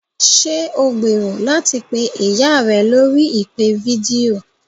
Ṣé o gbèrò láti pé ìyá rẹ lórí ìpè fídíò?